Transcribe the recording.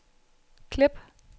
klip